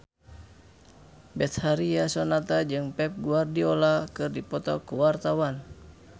Betharia Sonata jeung Pep Guardiola keur dipoto ku wartawan